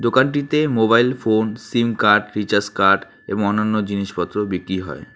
দোকানটিতে mobile phones sim card recharge card এবং অন্যান্য জিনিসপত্র বিক্রি হয়।